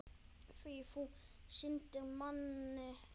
Því þú sýndir manni áhuga.